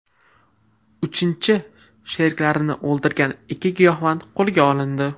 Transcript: Uchinchi sheriklarini o‘ldirgan ikki giyohvand qo‘lga olindi.